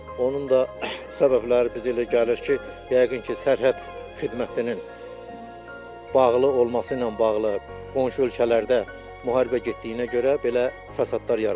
Onun da səbəbləri bizə elə gəlir ki, yəqin ki, sərhəd xidmətinin bağlı olması ilə bağlı qonşu ölkələrdə müharibə getdiyinə görə belə fəsadlar yaranıb.